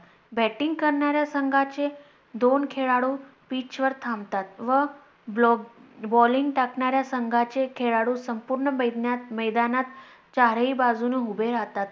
Batting करणाऱ्या संघाचे दोन खेळlडू Pitch वर थांबतात व Balling टाकणाऱ्या संघाचे खेळlडू संपूर्ण मैदानात चारही बाजूने उभे राहतात.